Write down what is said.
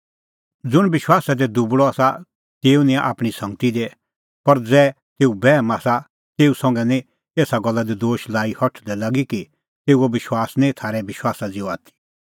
ज़ुंण विश्वासा दी दुबल़अ आसा तेऊ निंयां आपणीं संगती दी पर ज़ै तेऊ बैहम आसा तेऊ संघै निं एसा गल्ला दी दोश लाई हठल़दै लागी कि तेऊओ विश्वास निं थारै विश्वासा ज़िहअ आथी